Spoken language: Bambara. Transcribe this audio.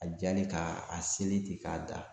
A jalen k'a sɛrilen ten k'a da